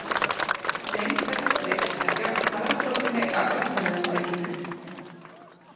Lengd þessa striks er jöfn kvaðratrótinni af upphaflega strikinu.